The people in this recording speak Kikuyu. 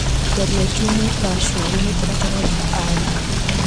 Tharia Jumũ Rashũ hari mũtaratara wa aria .